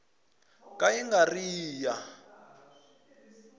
ka yi nga ri ya